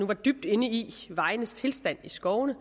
var dybt inde i vejenes tilstand i skovene